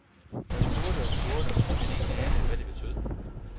Jeg spurgte og spurgte, men ingen anede, hvad det betød.